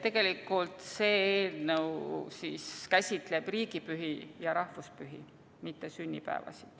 Tegelikult see eelnõu käsitleb riigipühi ja rahvuspühi, mitte sünnipäevasid.